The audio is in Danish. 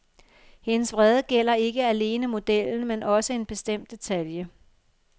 Hendes vrede gælder ikke alene selve modellen, men også en bestemt detalje.